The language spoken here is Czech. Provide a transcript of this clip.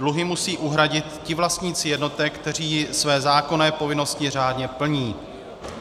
Dluhy musí uhradit ti vlastníci jednotek, kteří své zákonné povinnosti řádně plní.